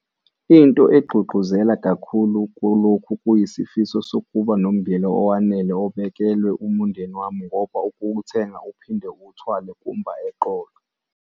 Into engigqugquzela kakhulu kulokhu kuyisifiso sokuba nommbila owanele obekelwe umndeni wami ngoba ukuwuthenga uphinde uwuthwale kumba eqolo.